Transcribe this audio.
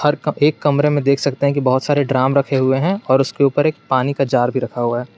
एक कमरे में देख सकते हैं कि बहुत सारे ड्राम रखे हुए हैं और उसके ऊपर एक पानी का जार भी रखा हुआ है।